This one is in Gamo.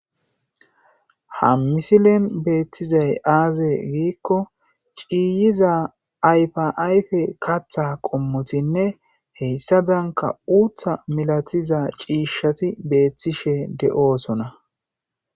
Ha misilen beettizay aaze giikko ciiyiza aypaayfe katha qommotinne heyssadanka uutha milatiza ciishshati beethtishe de7oosona.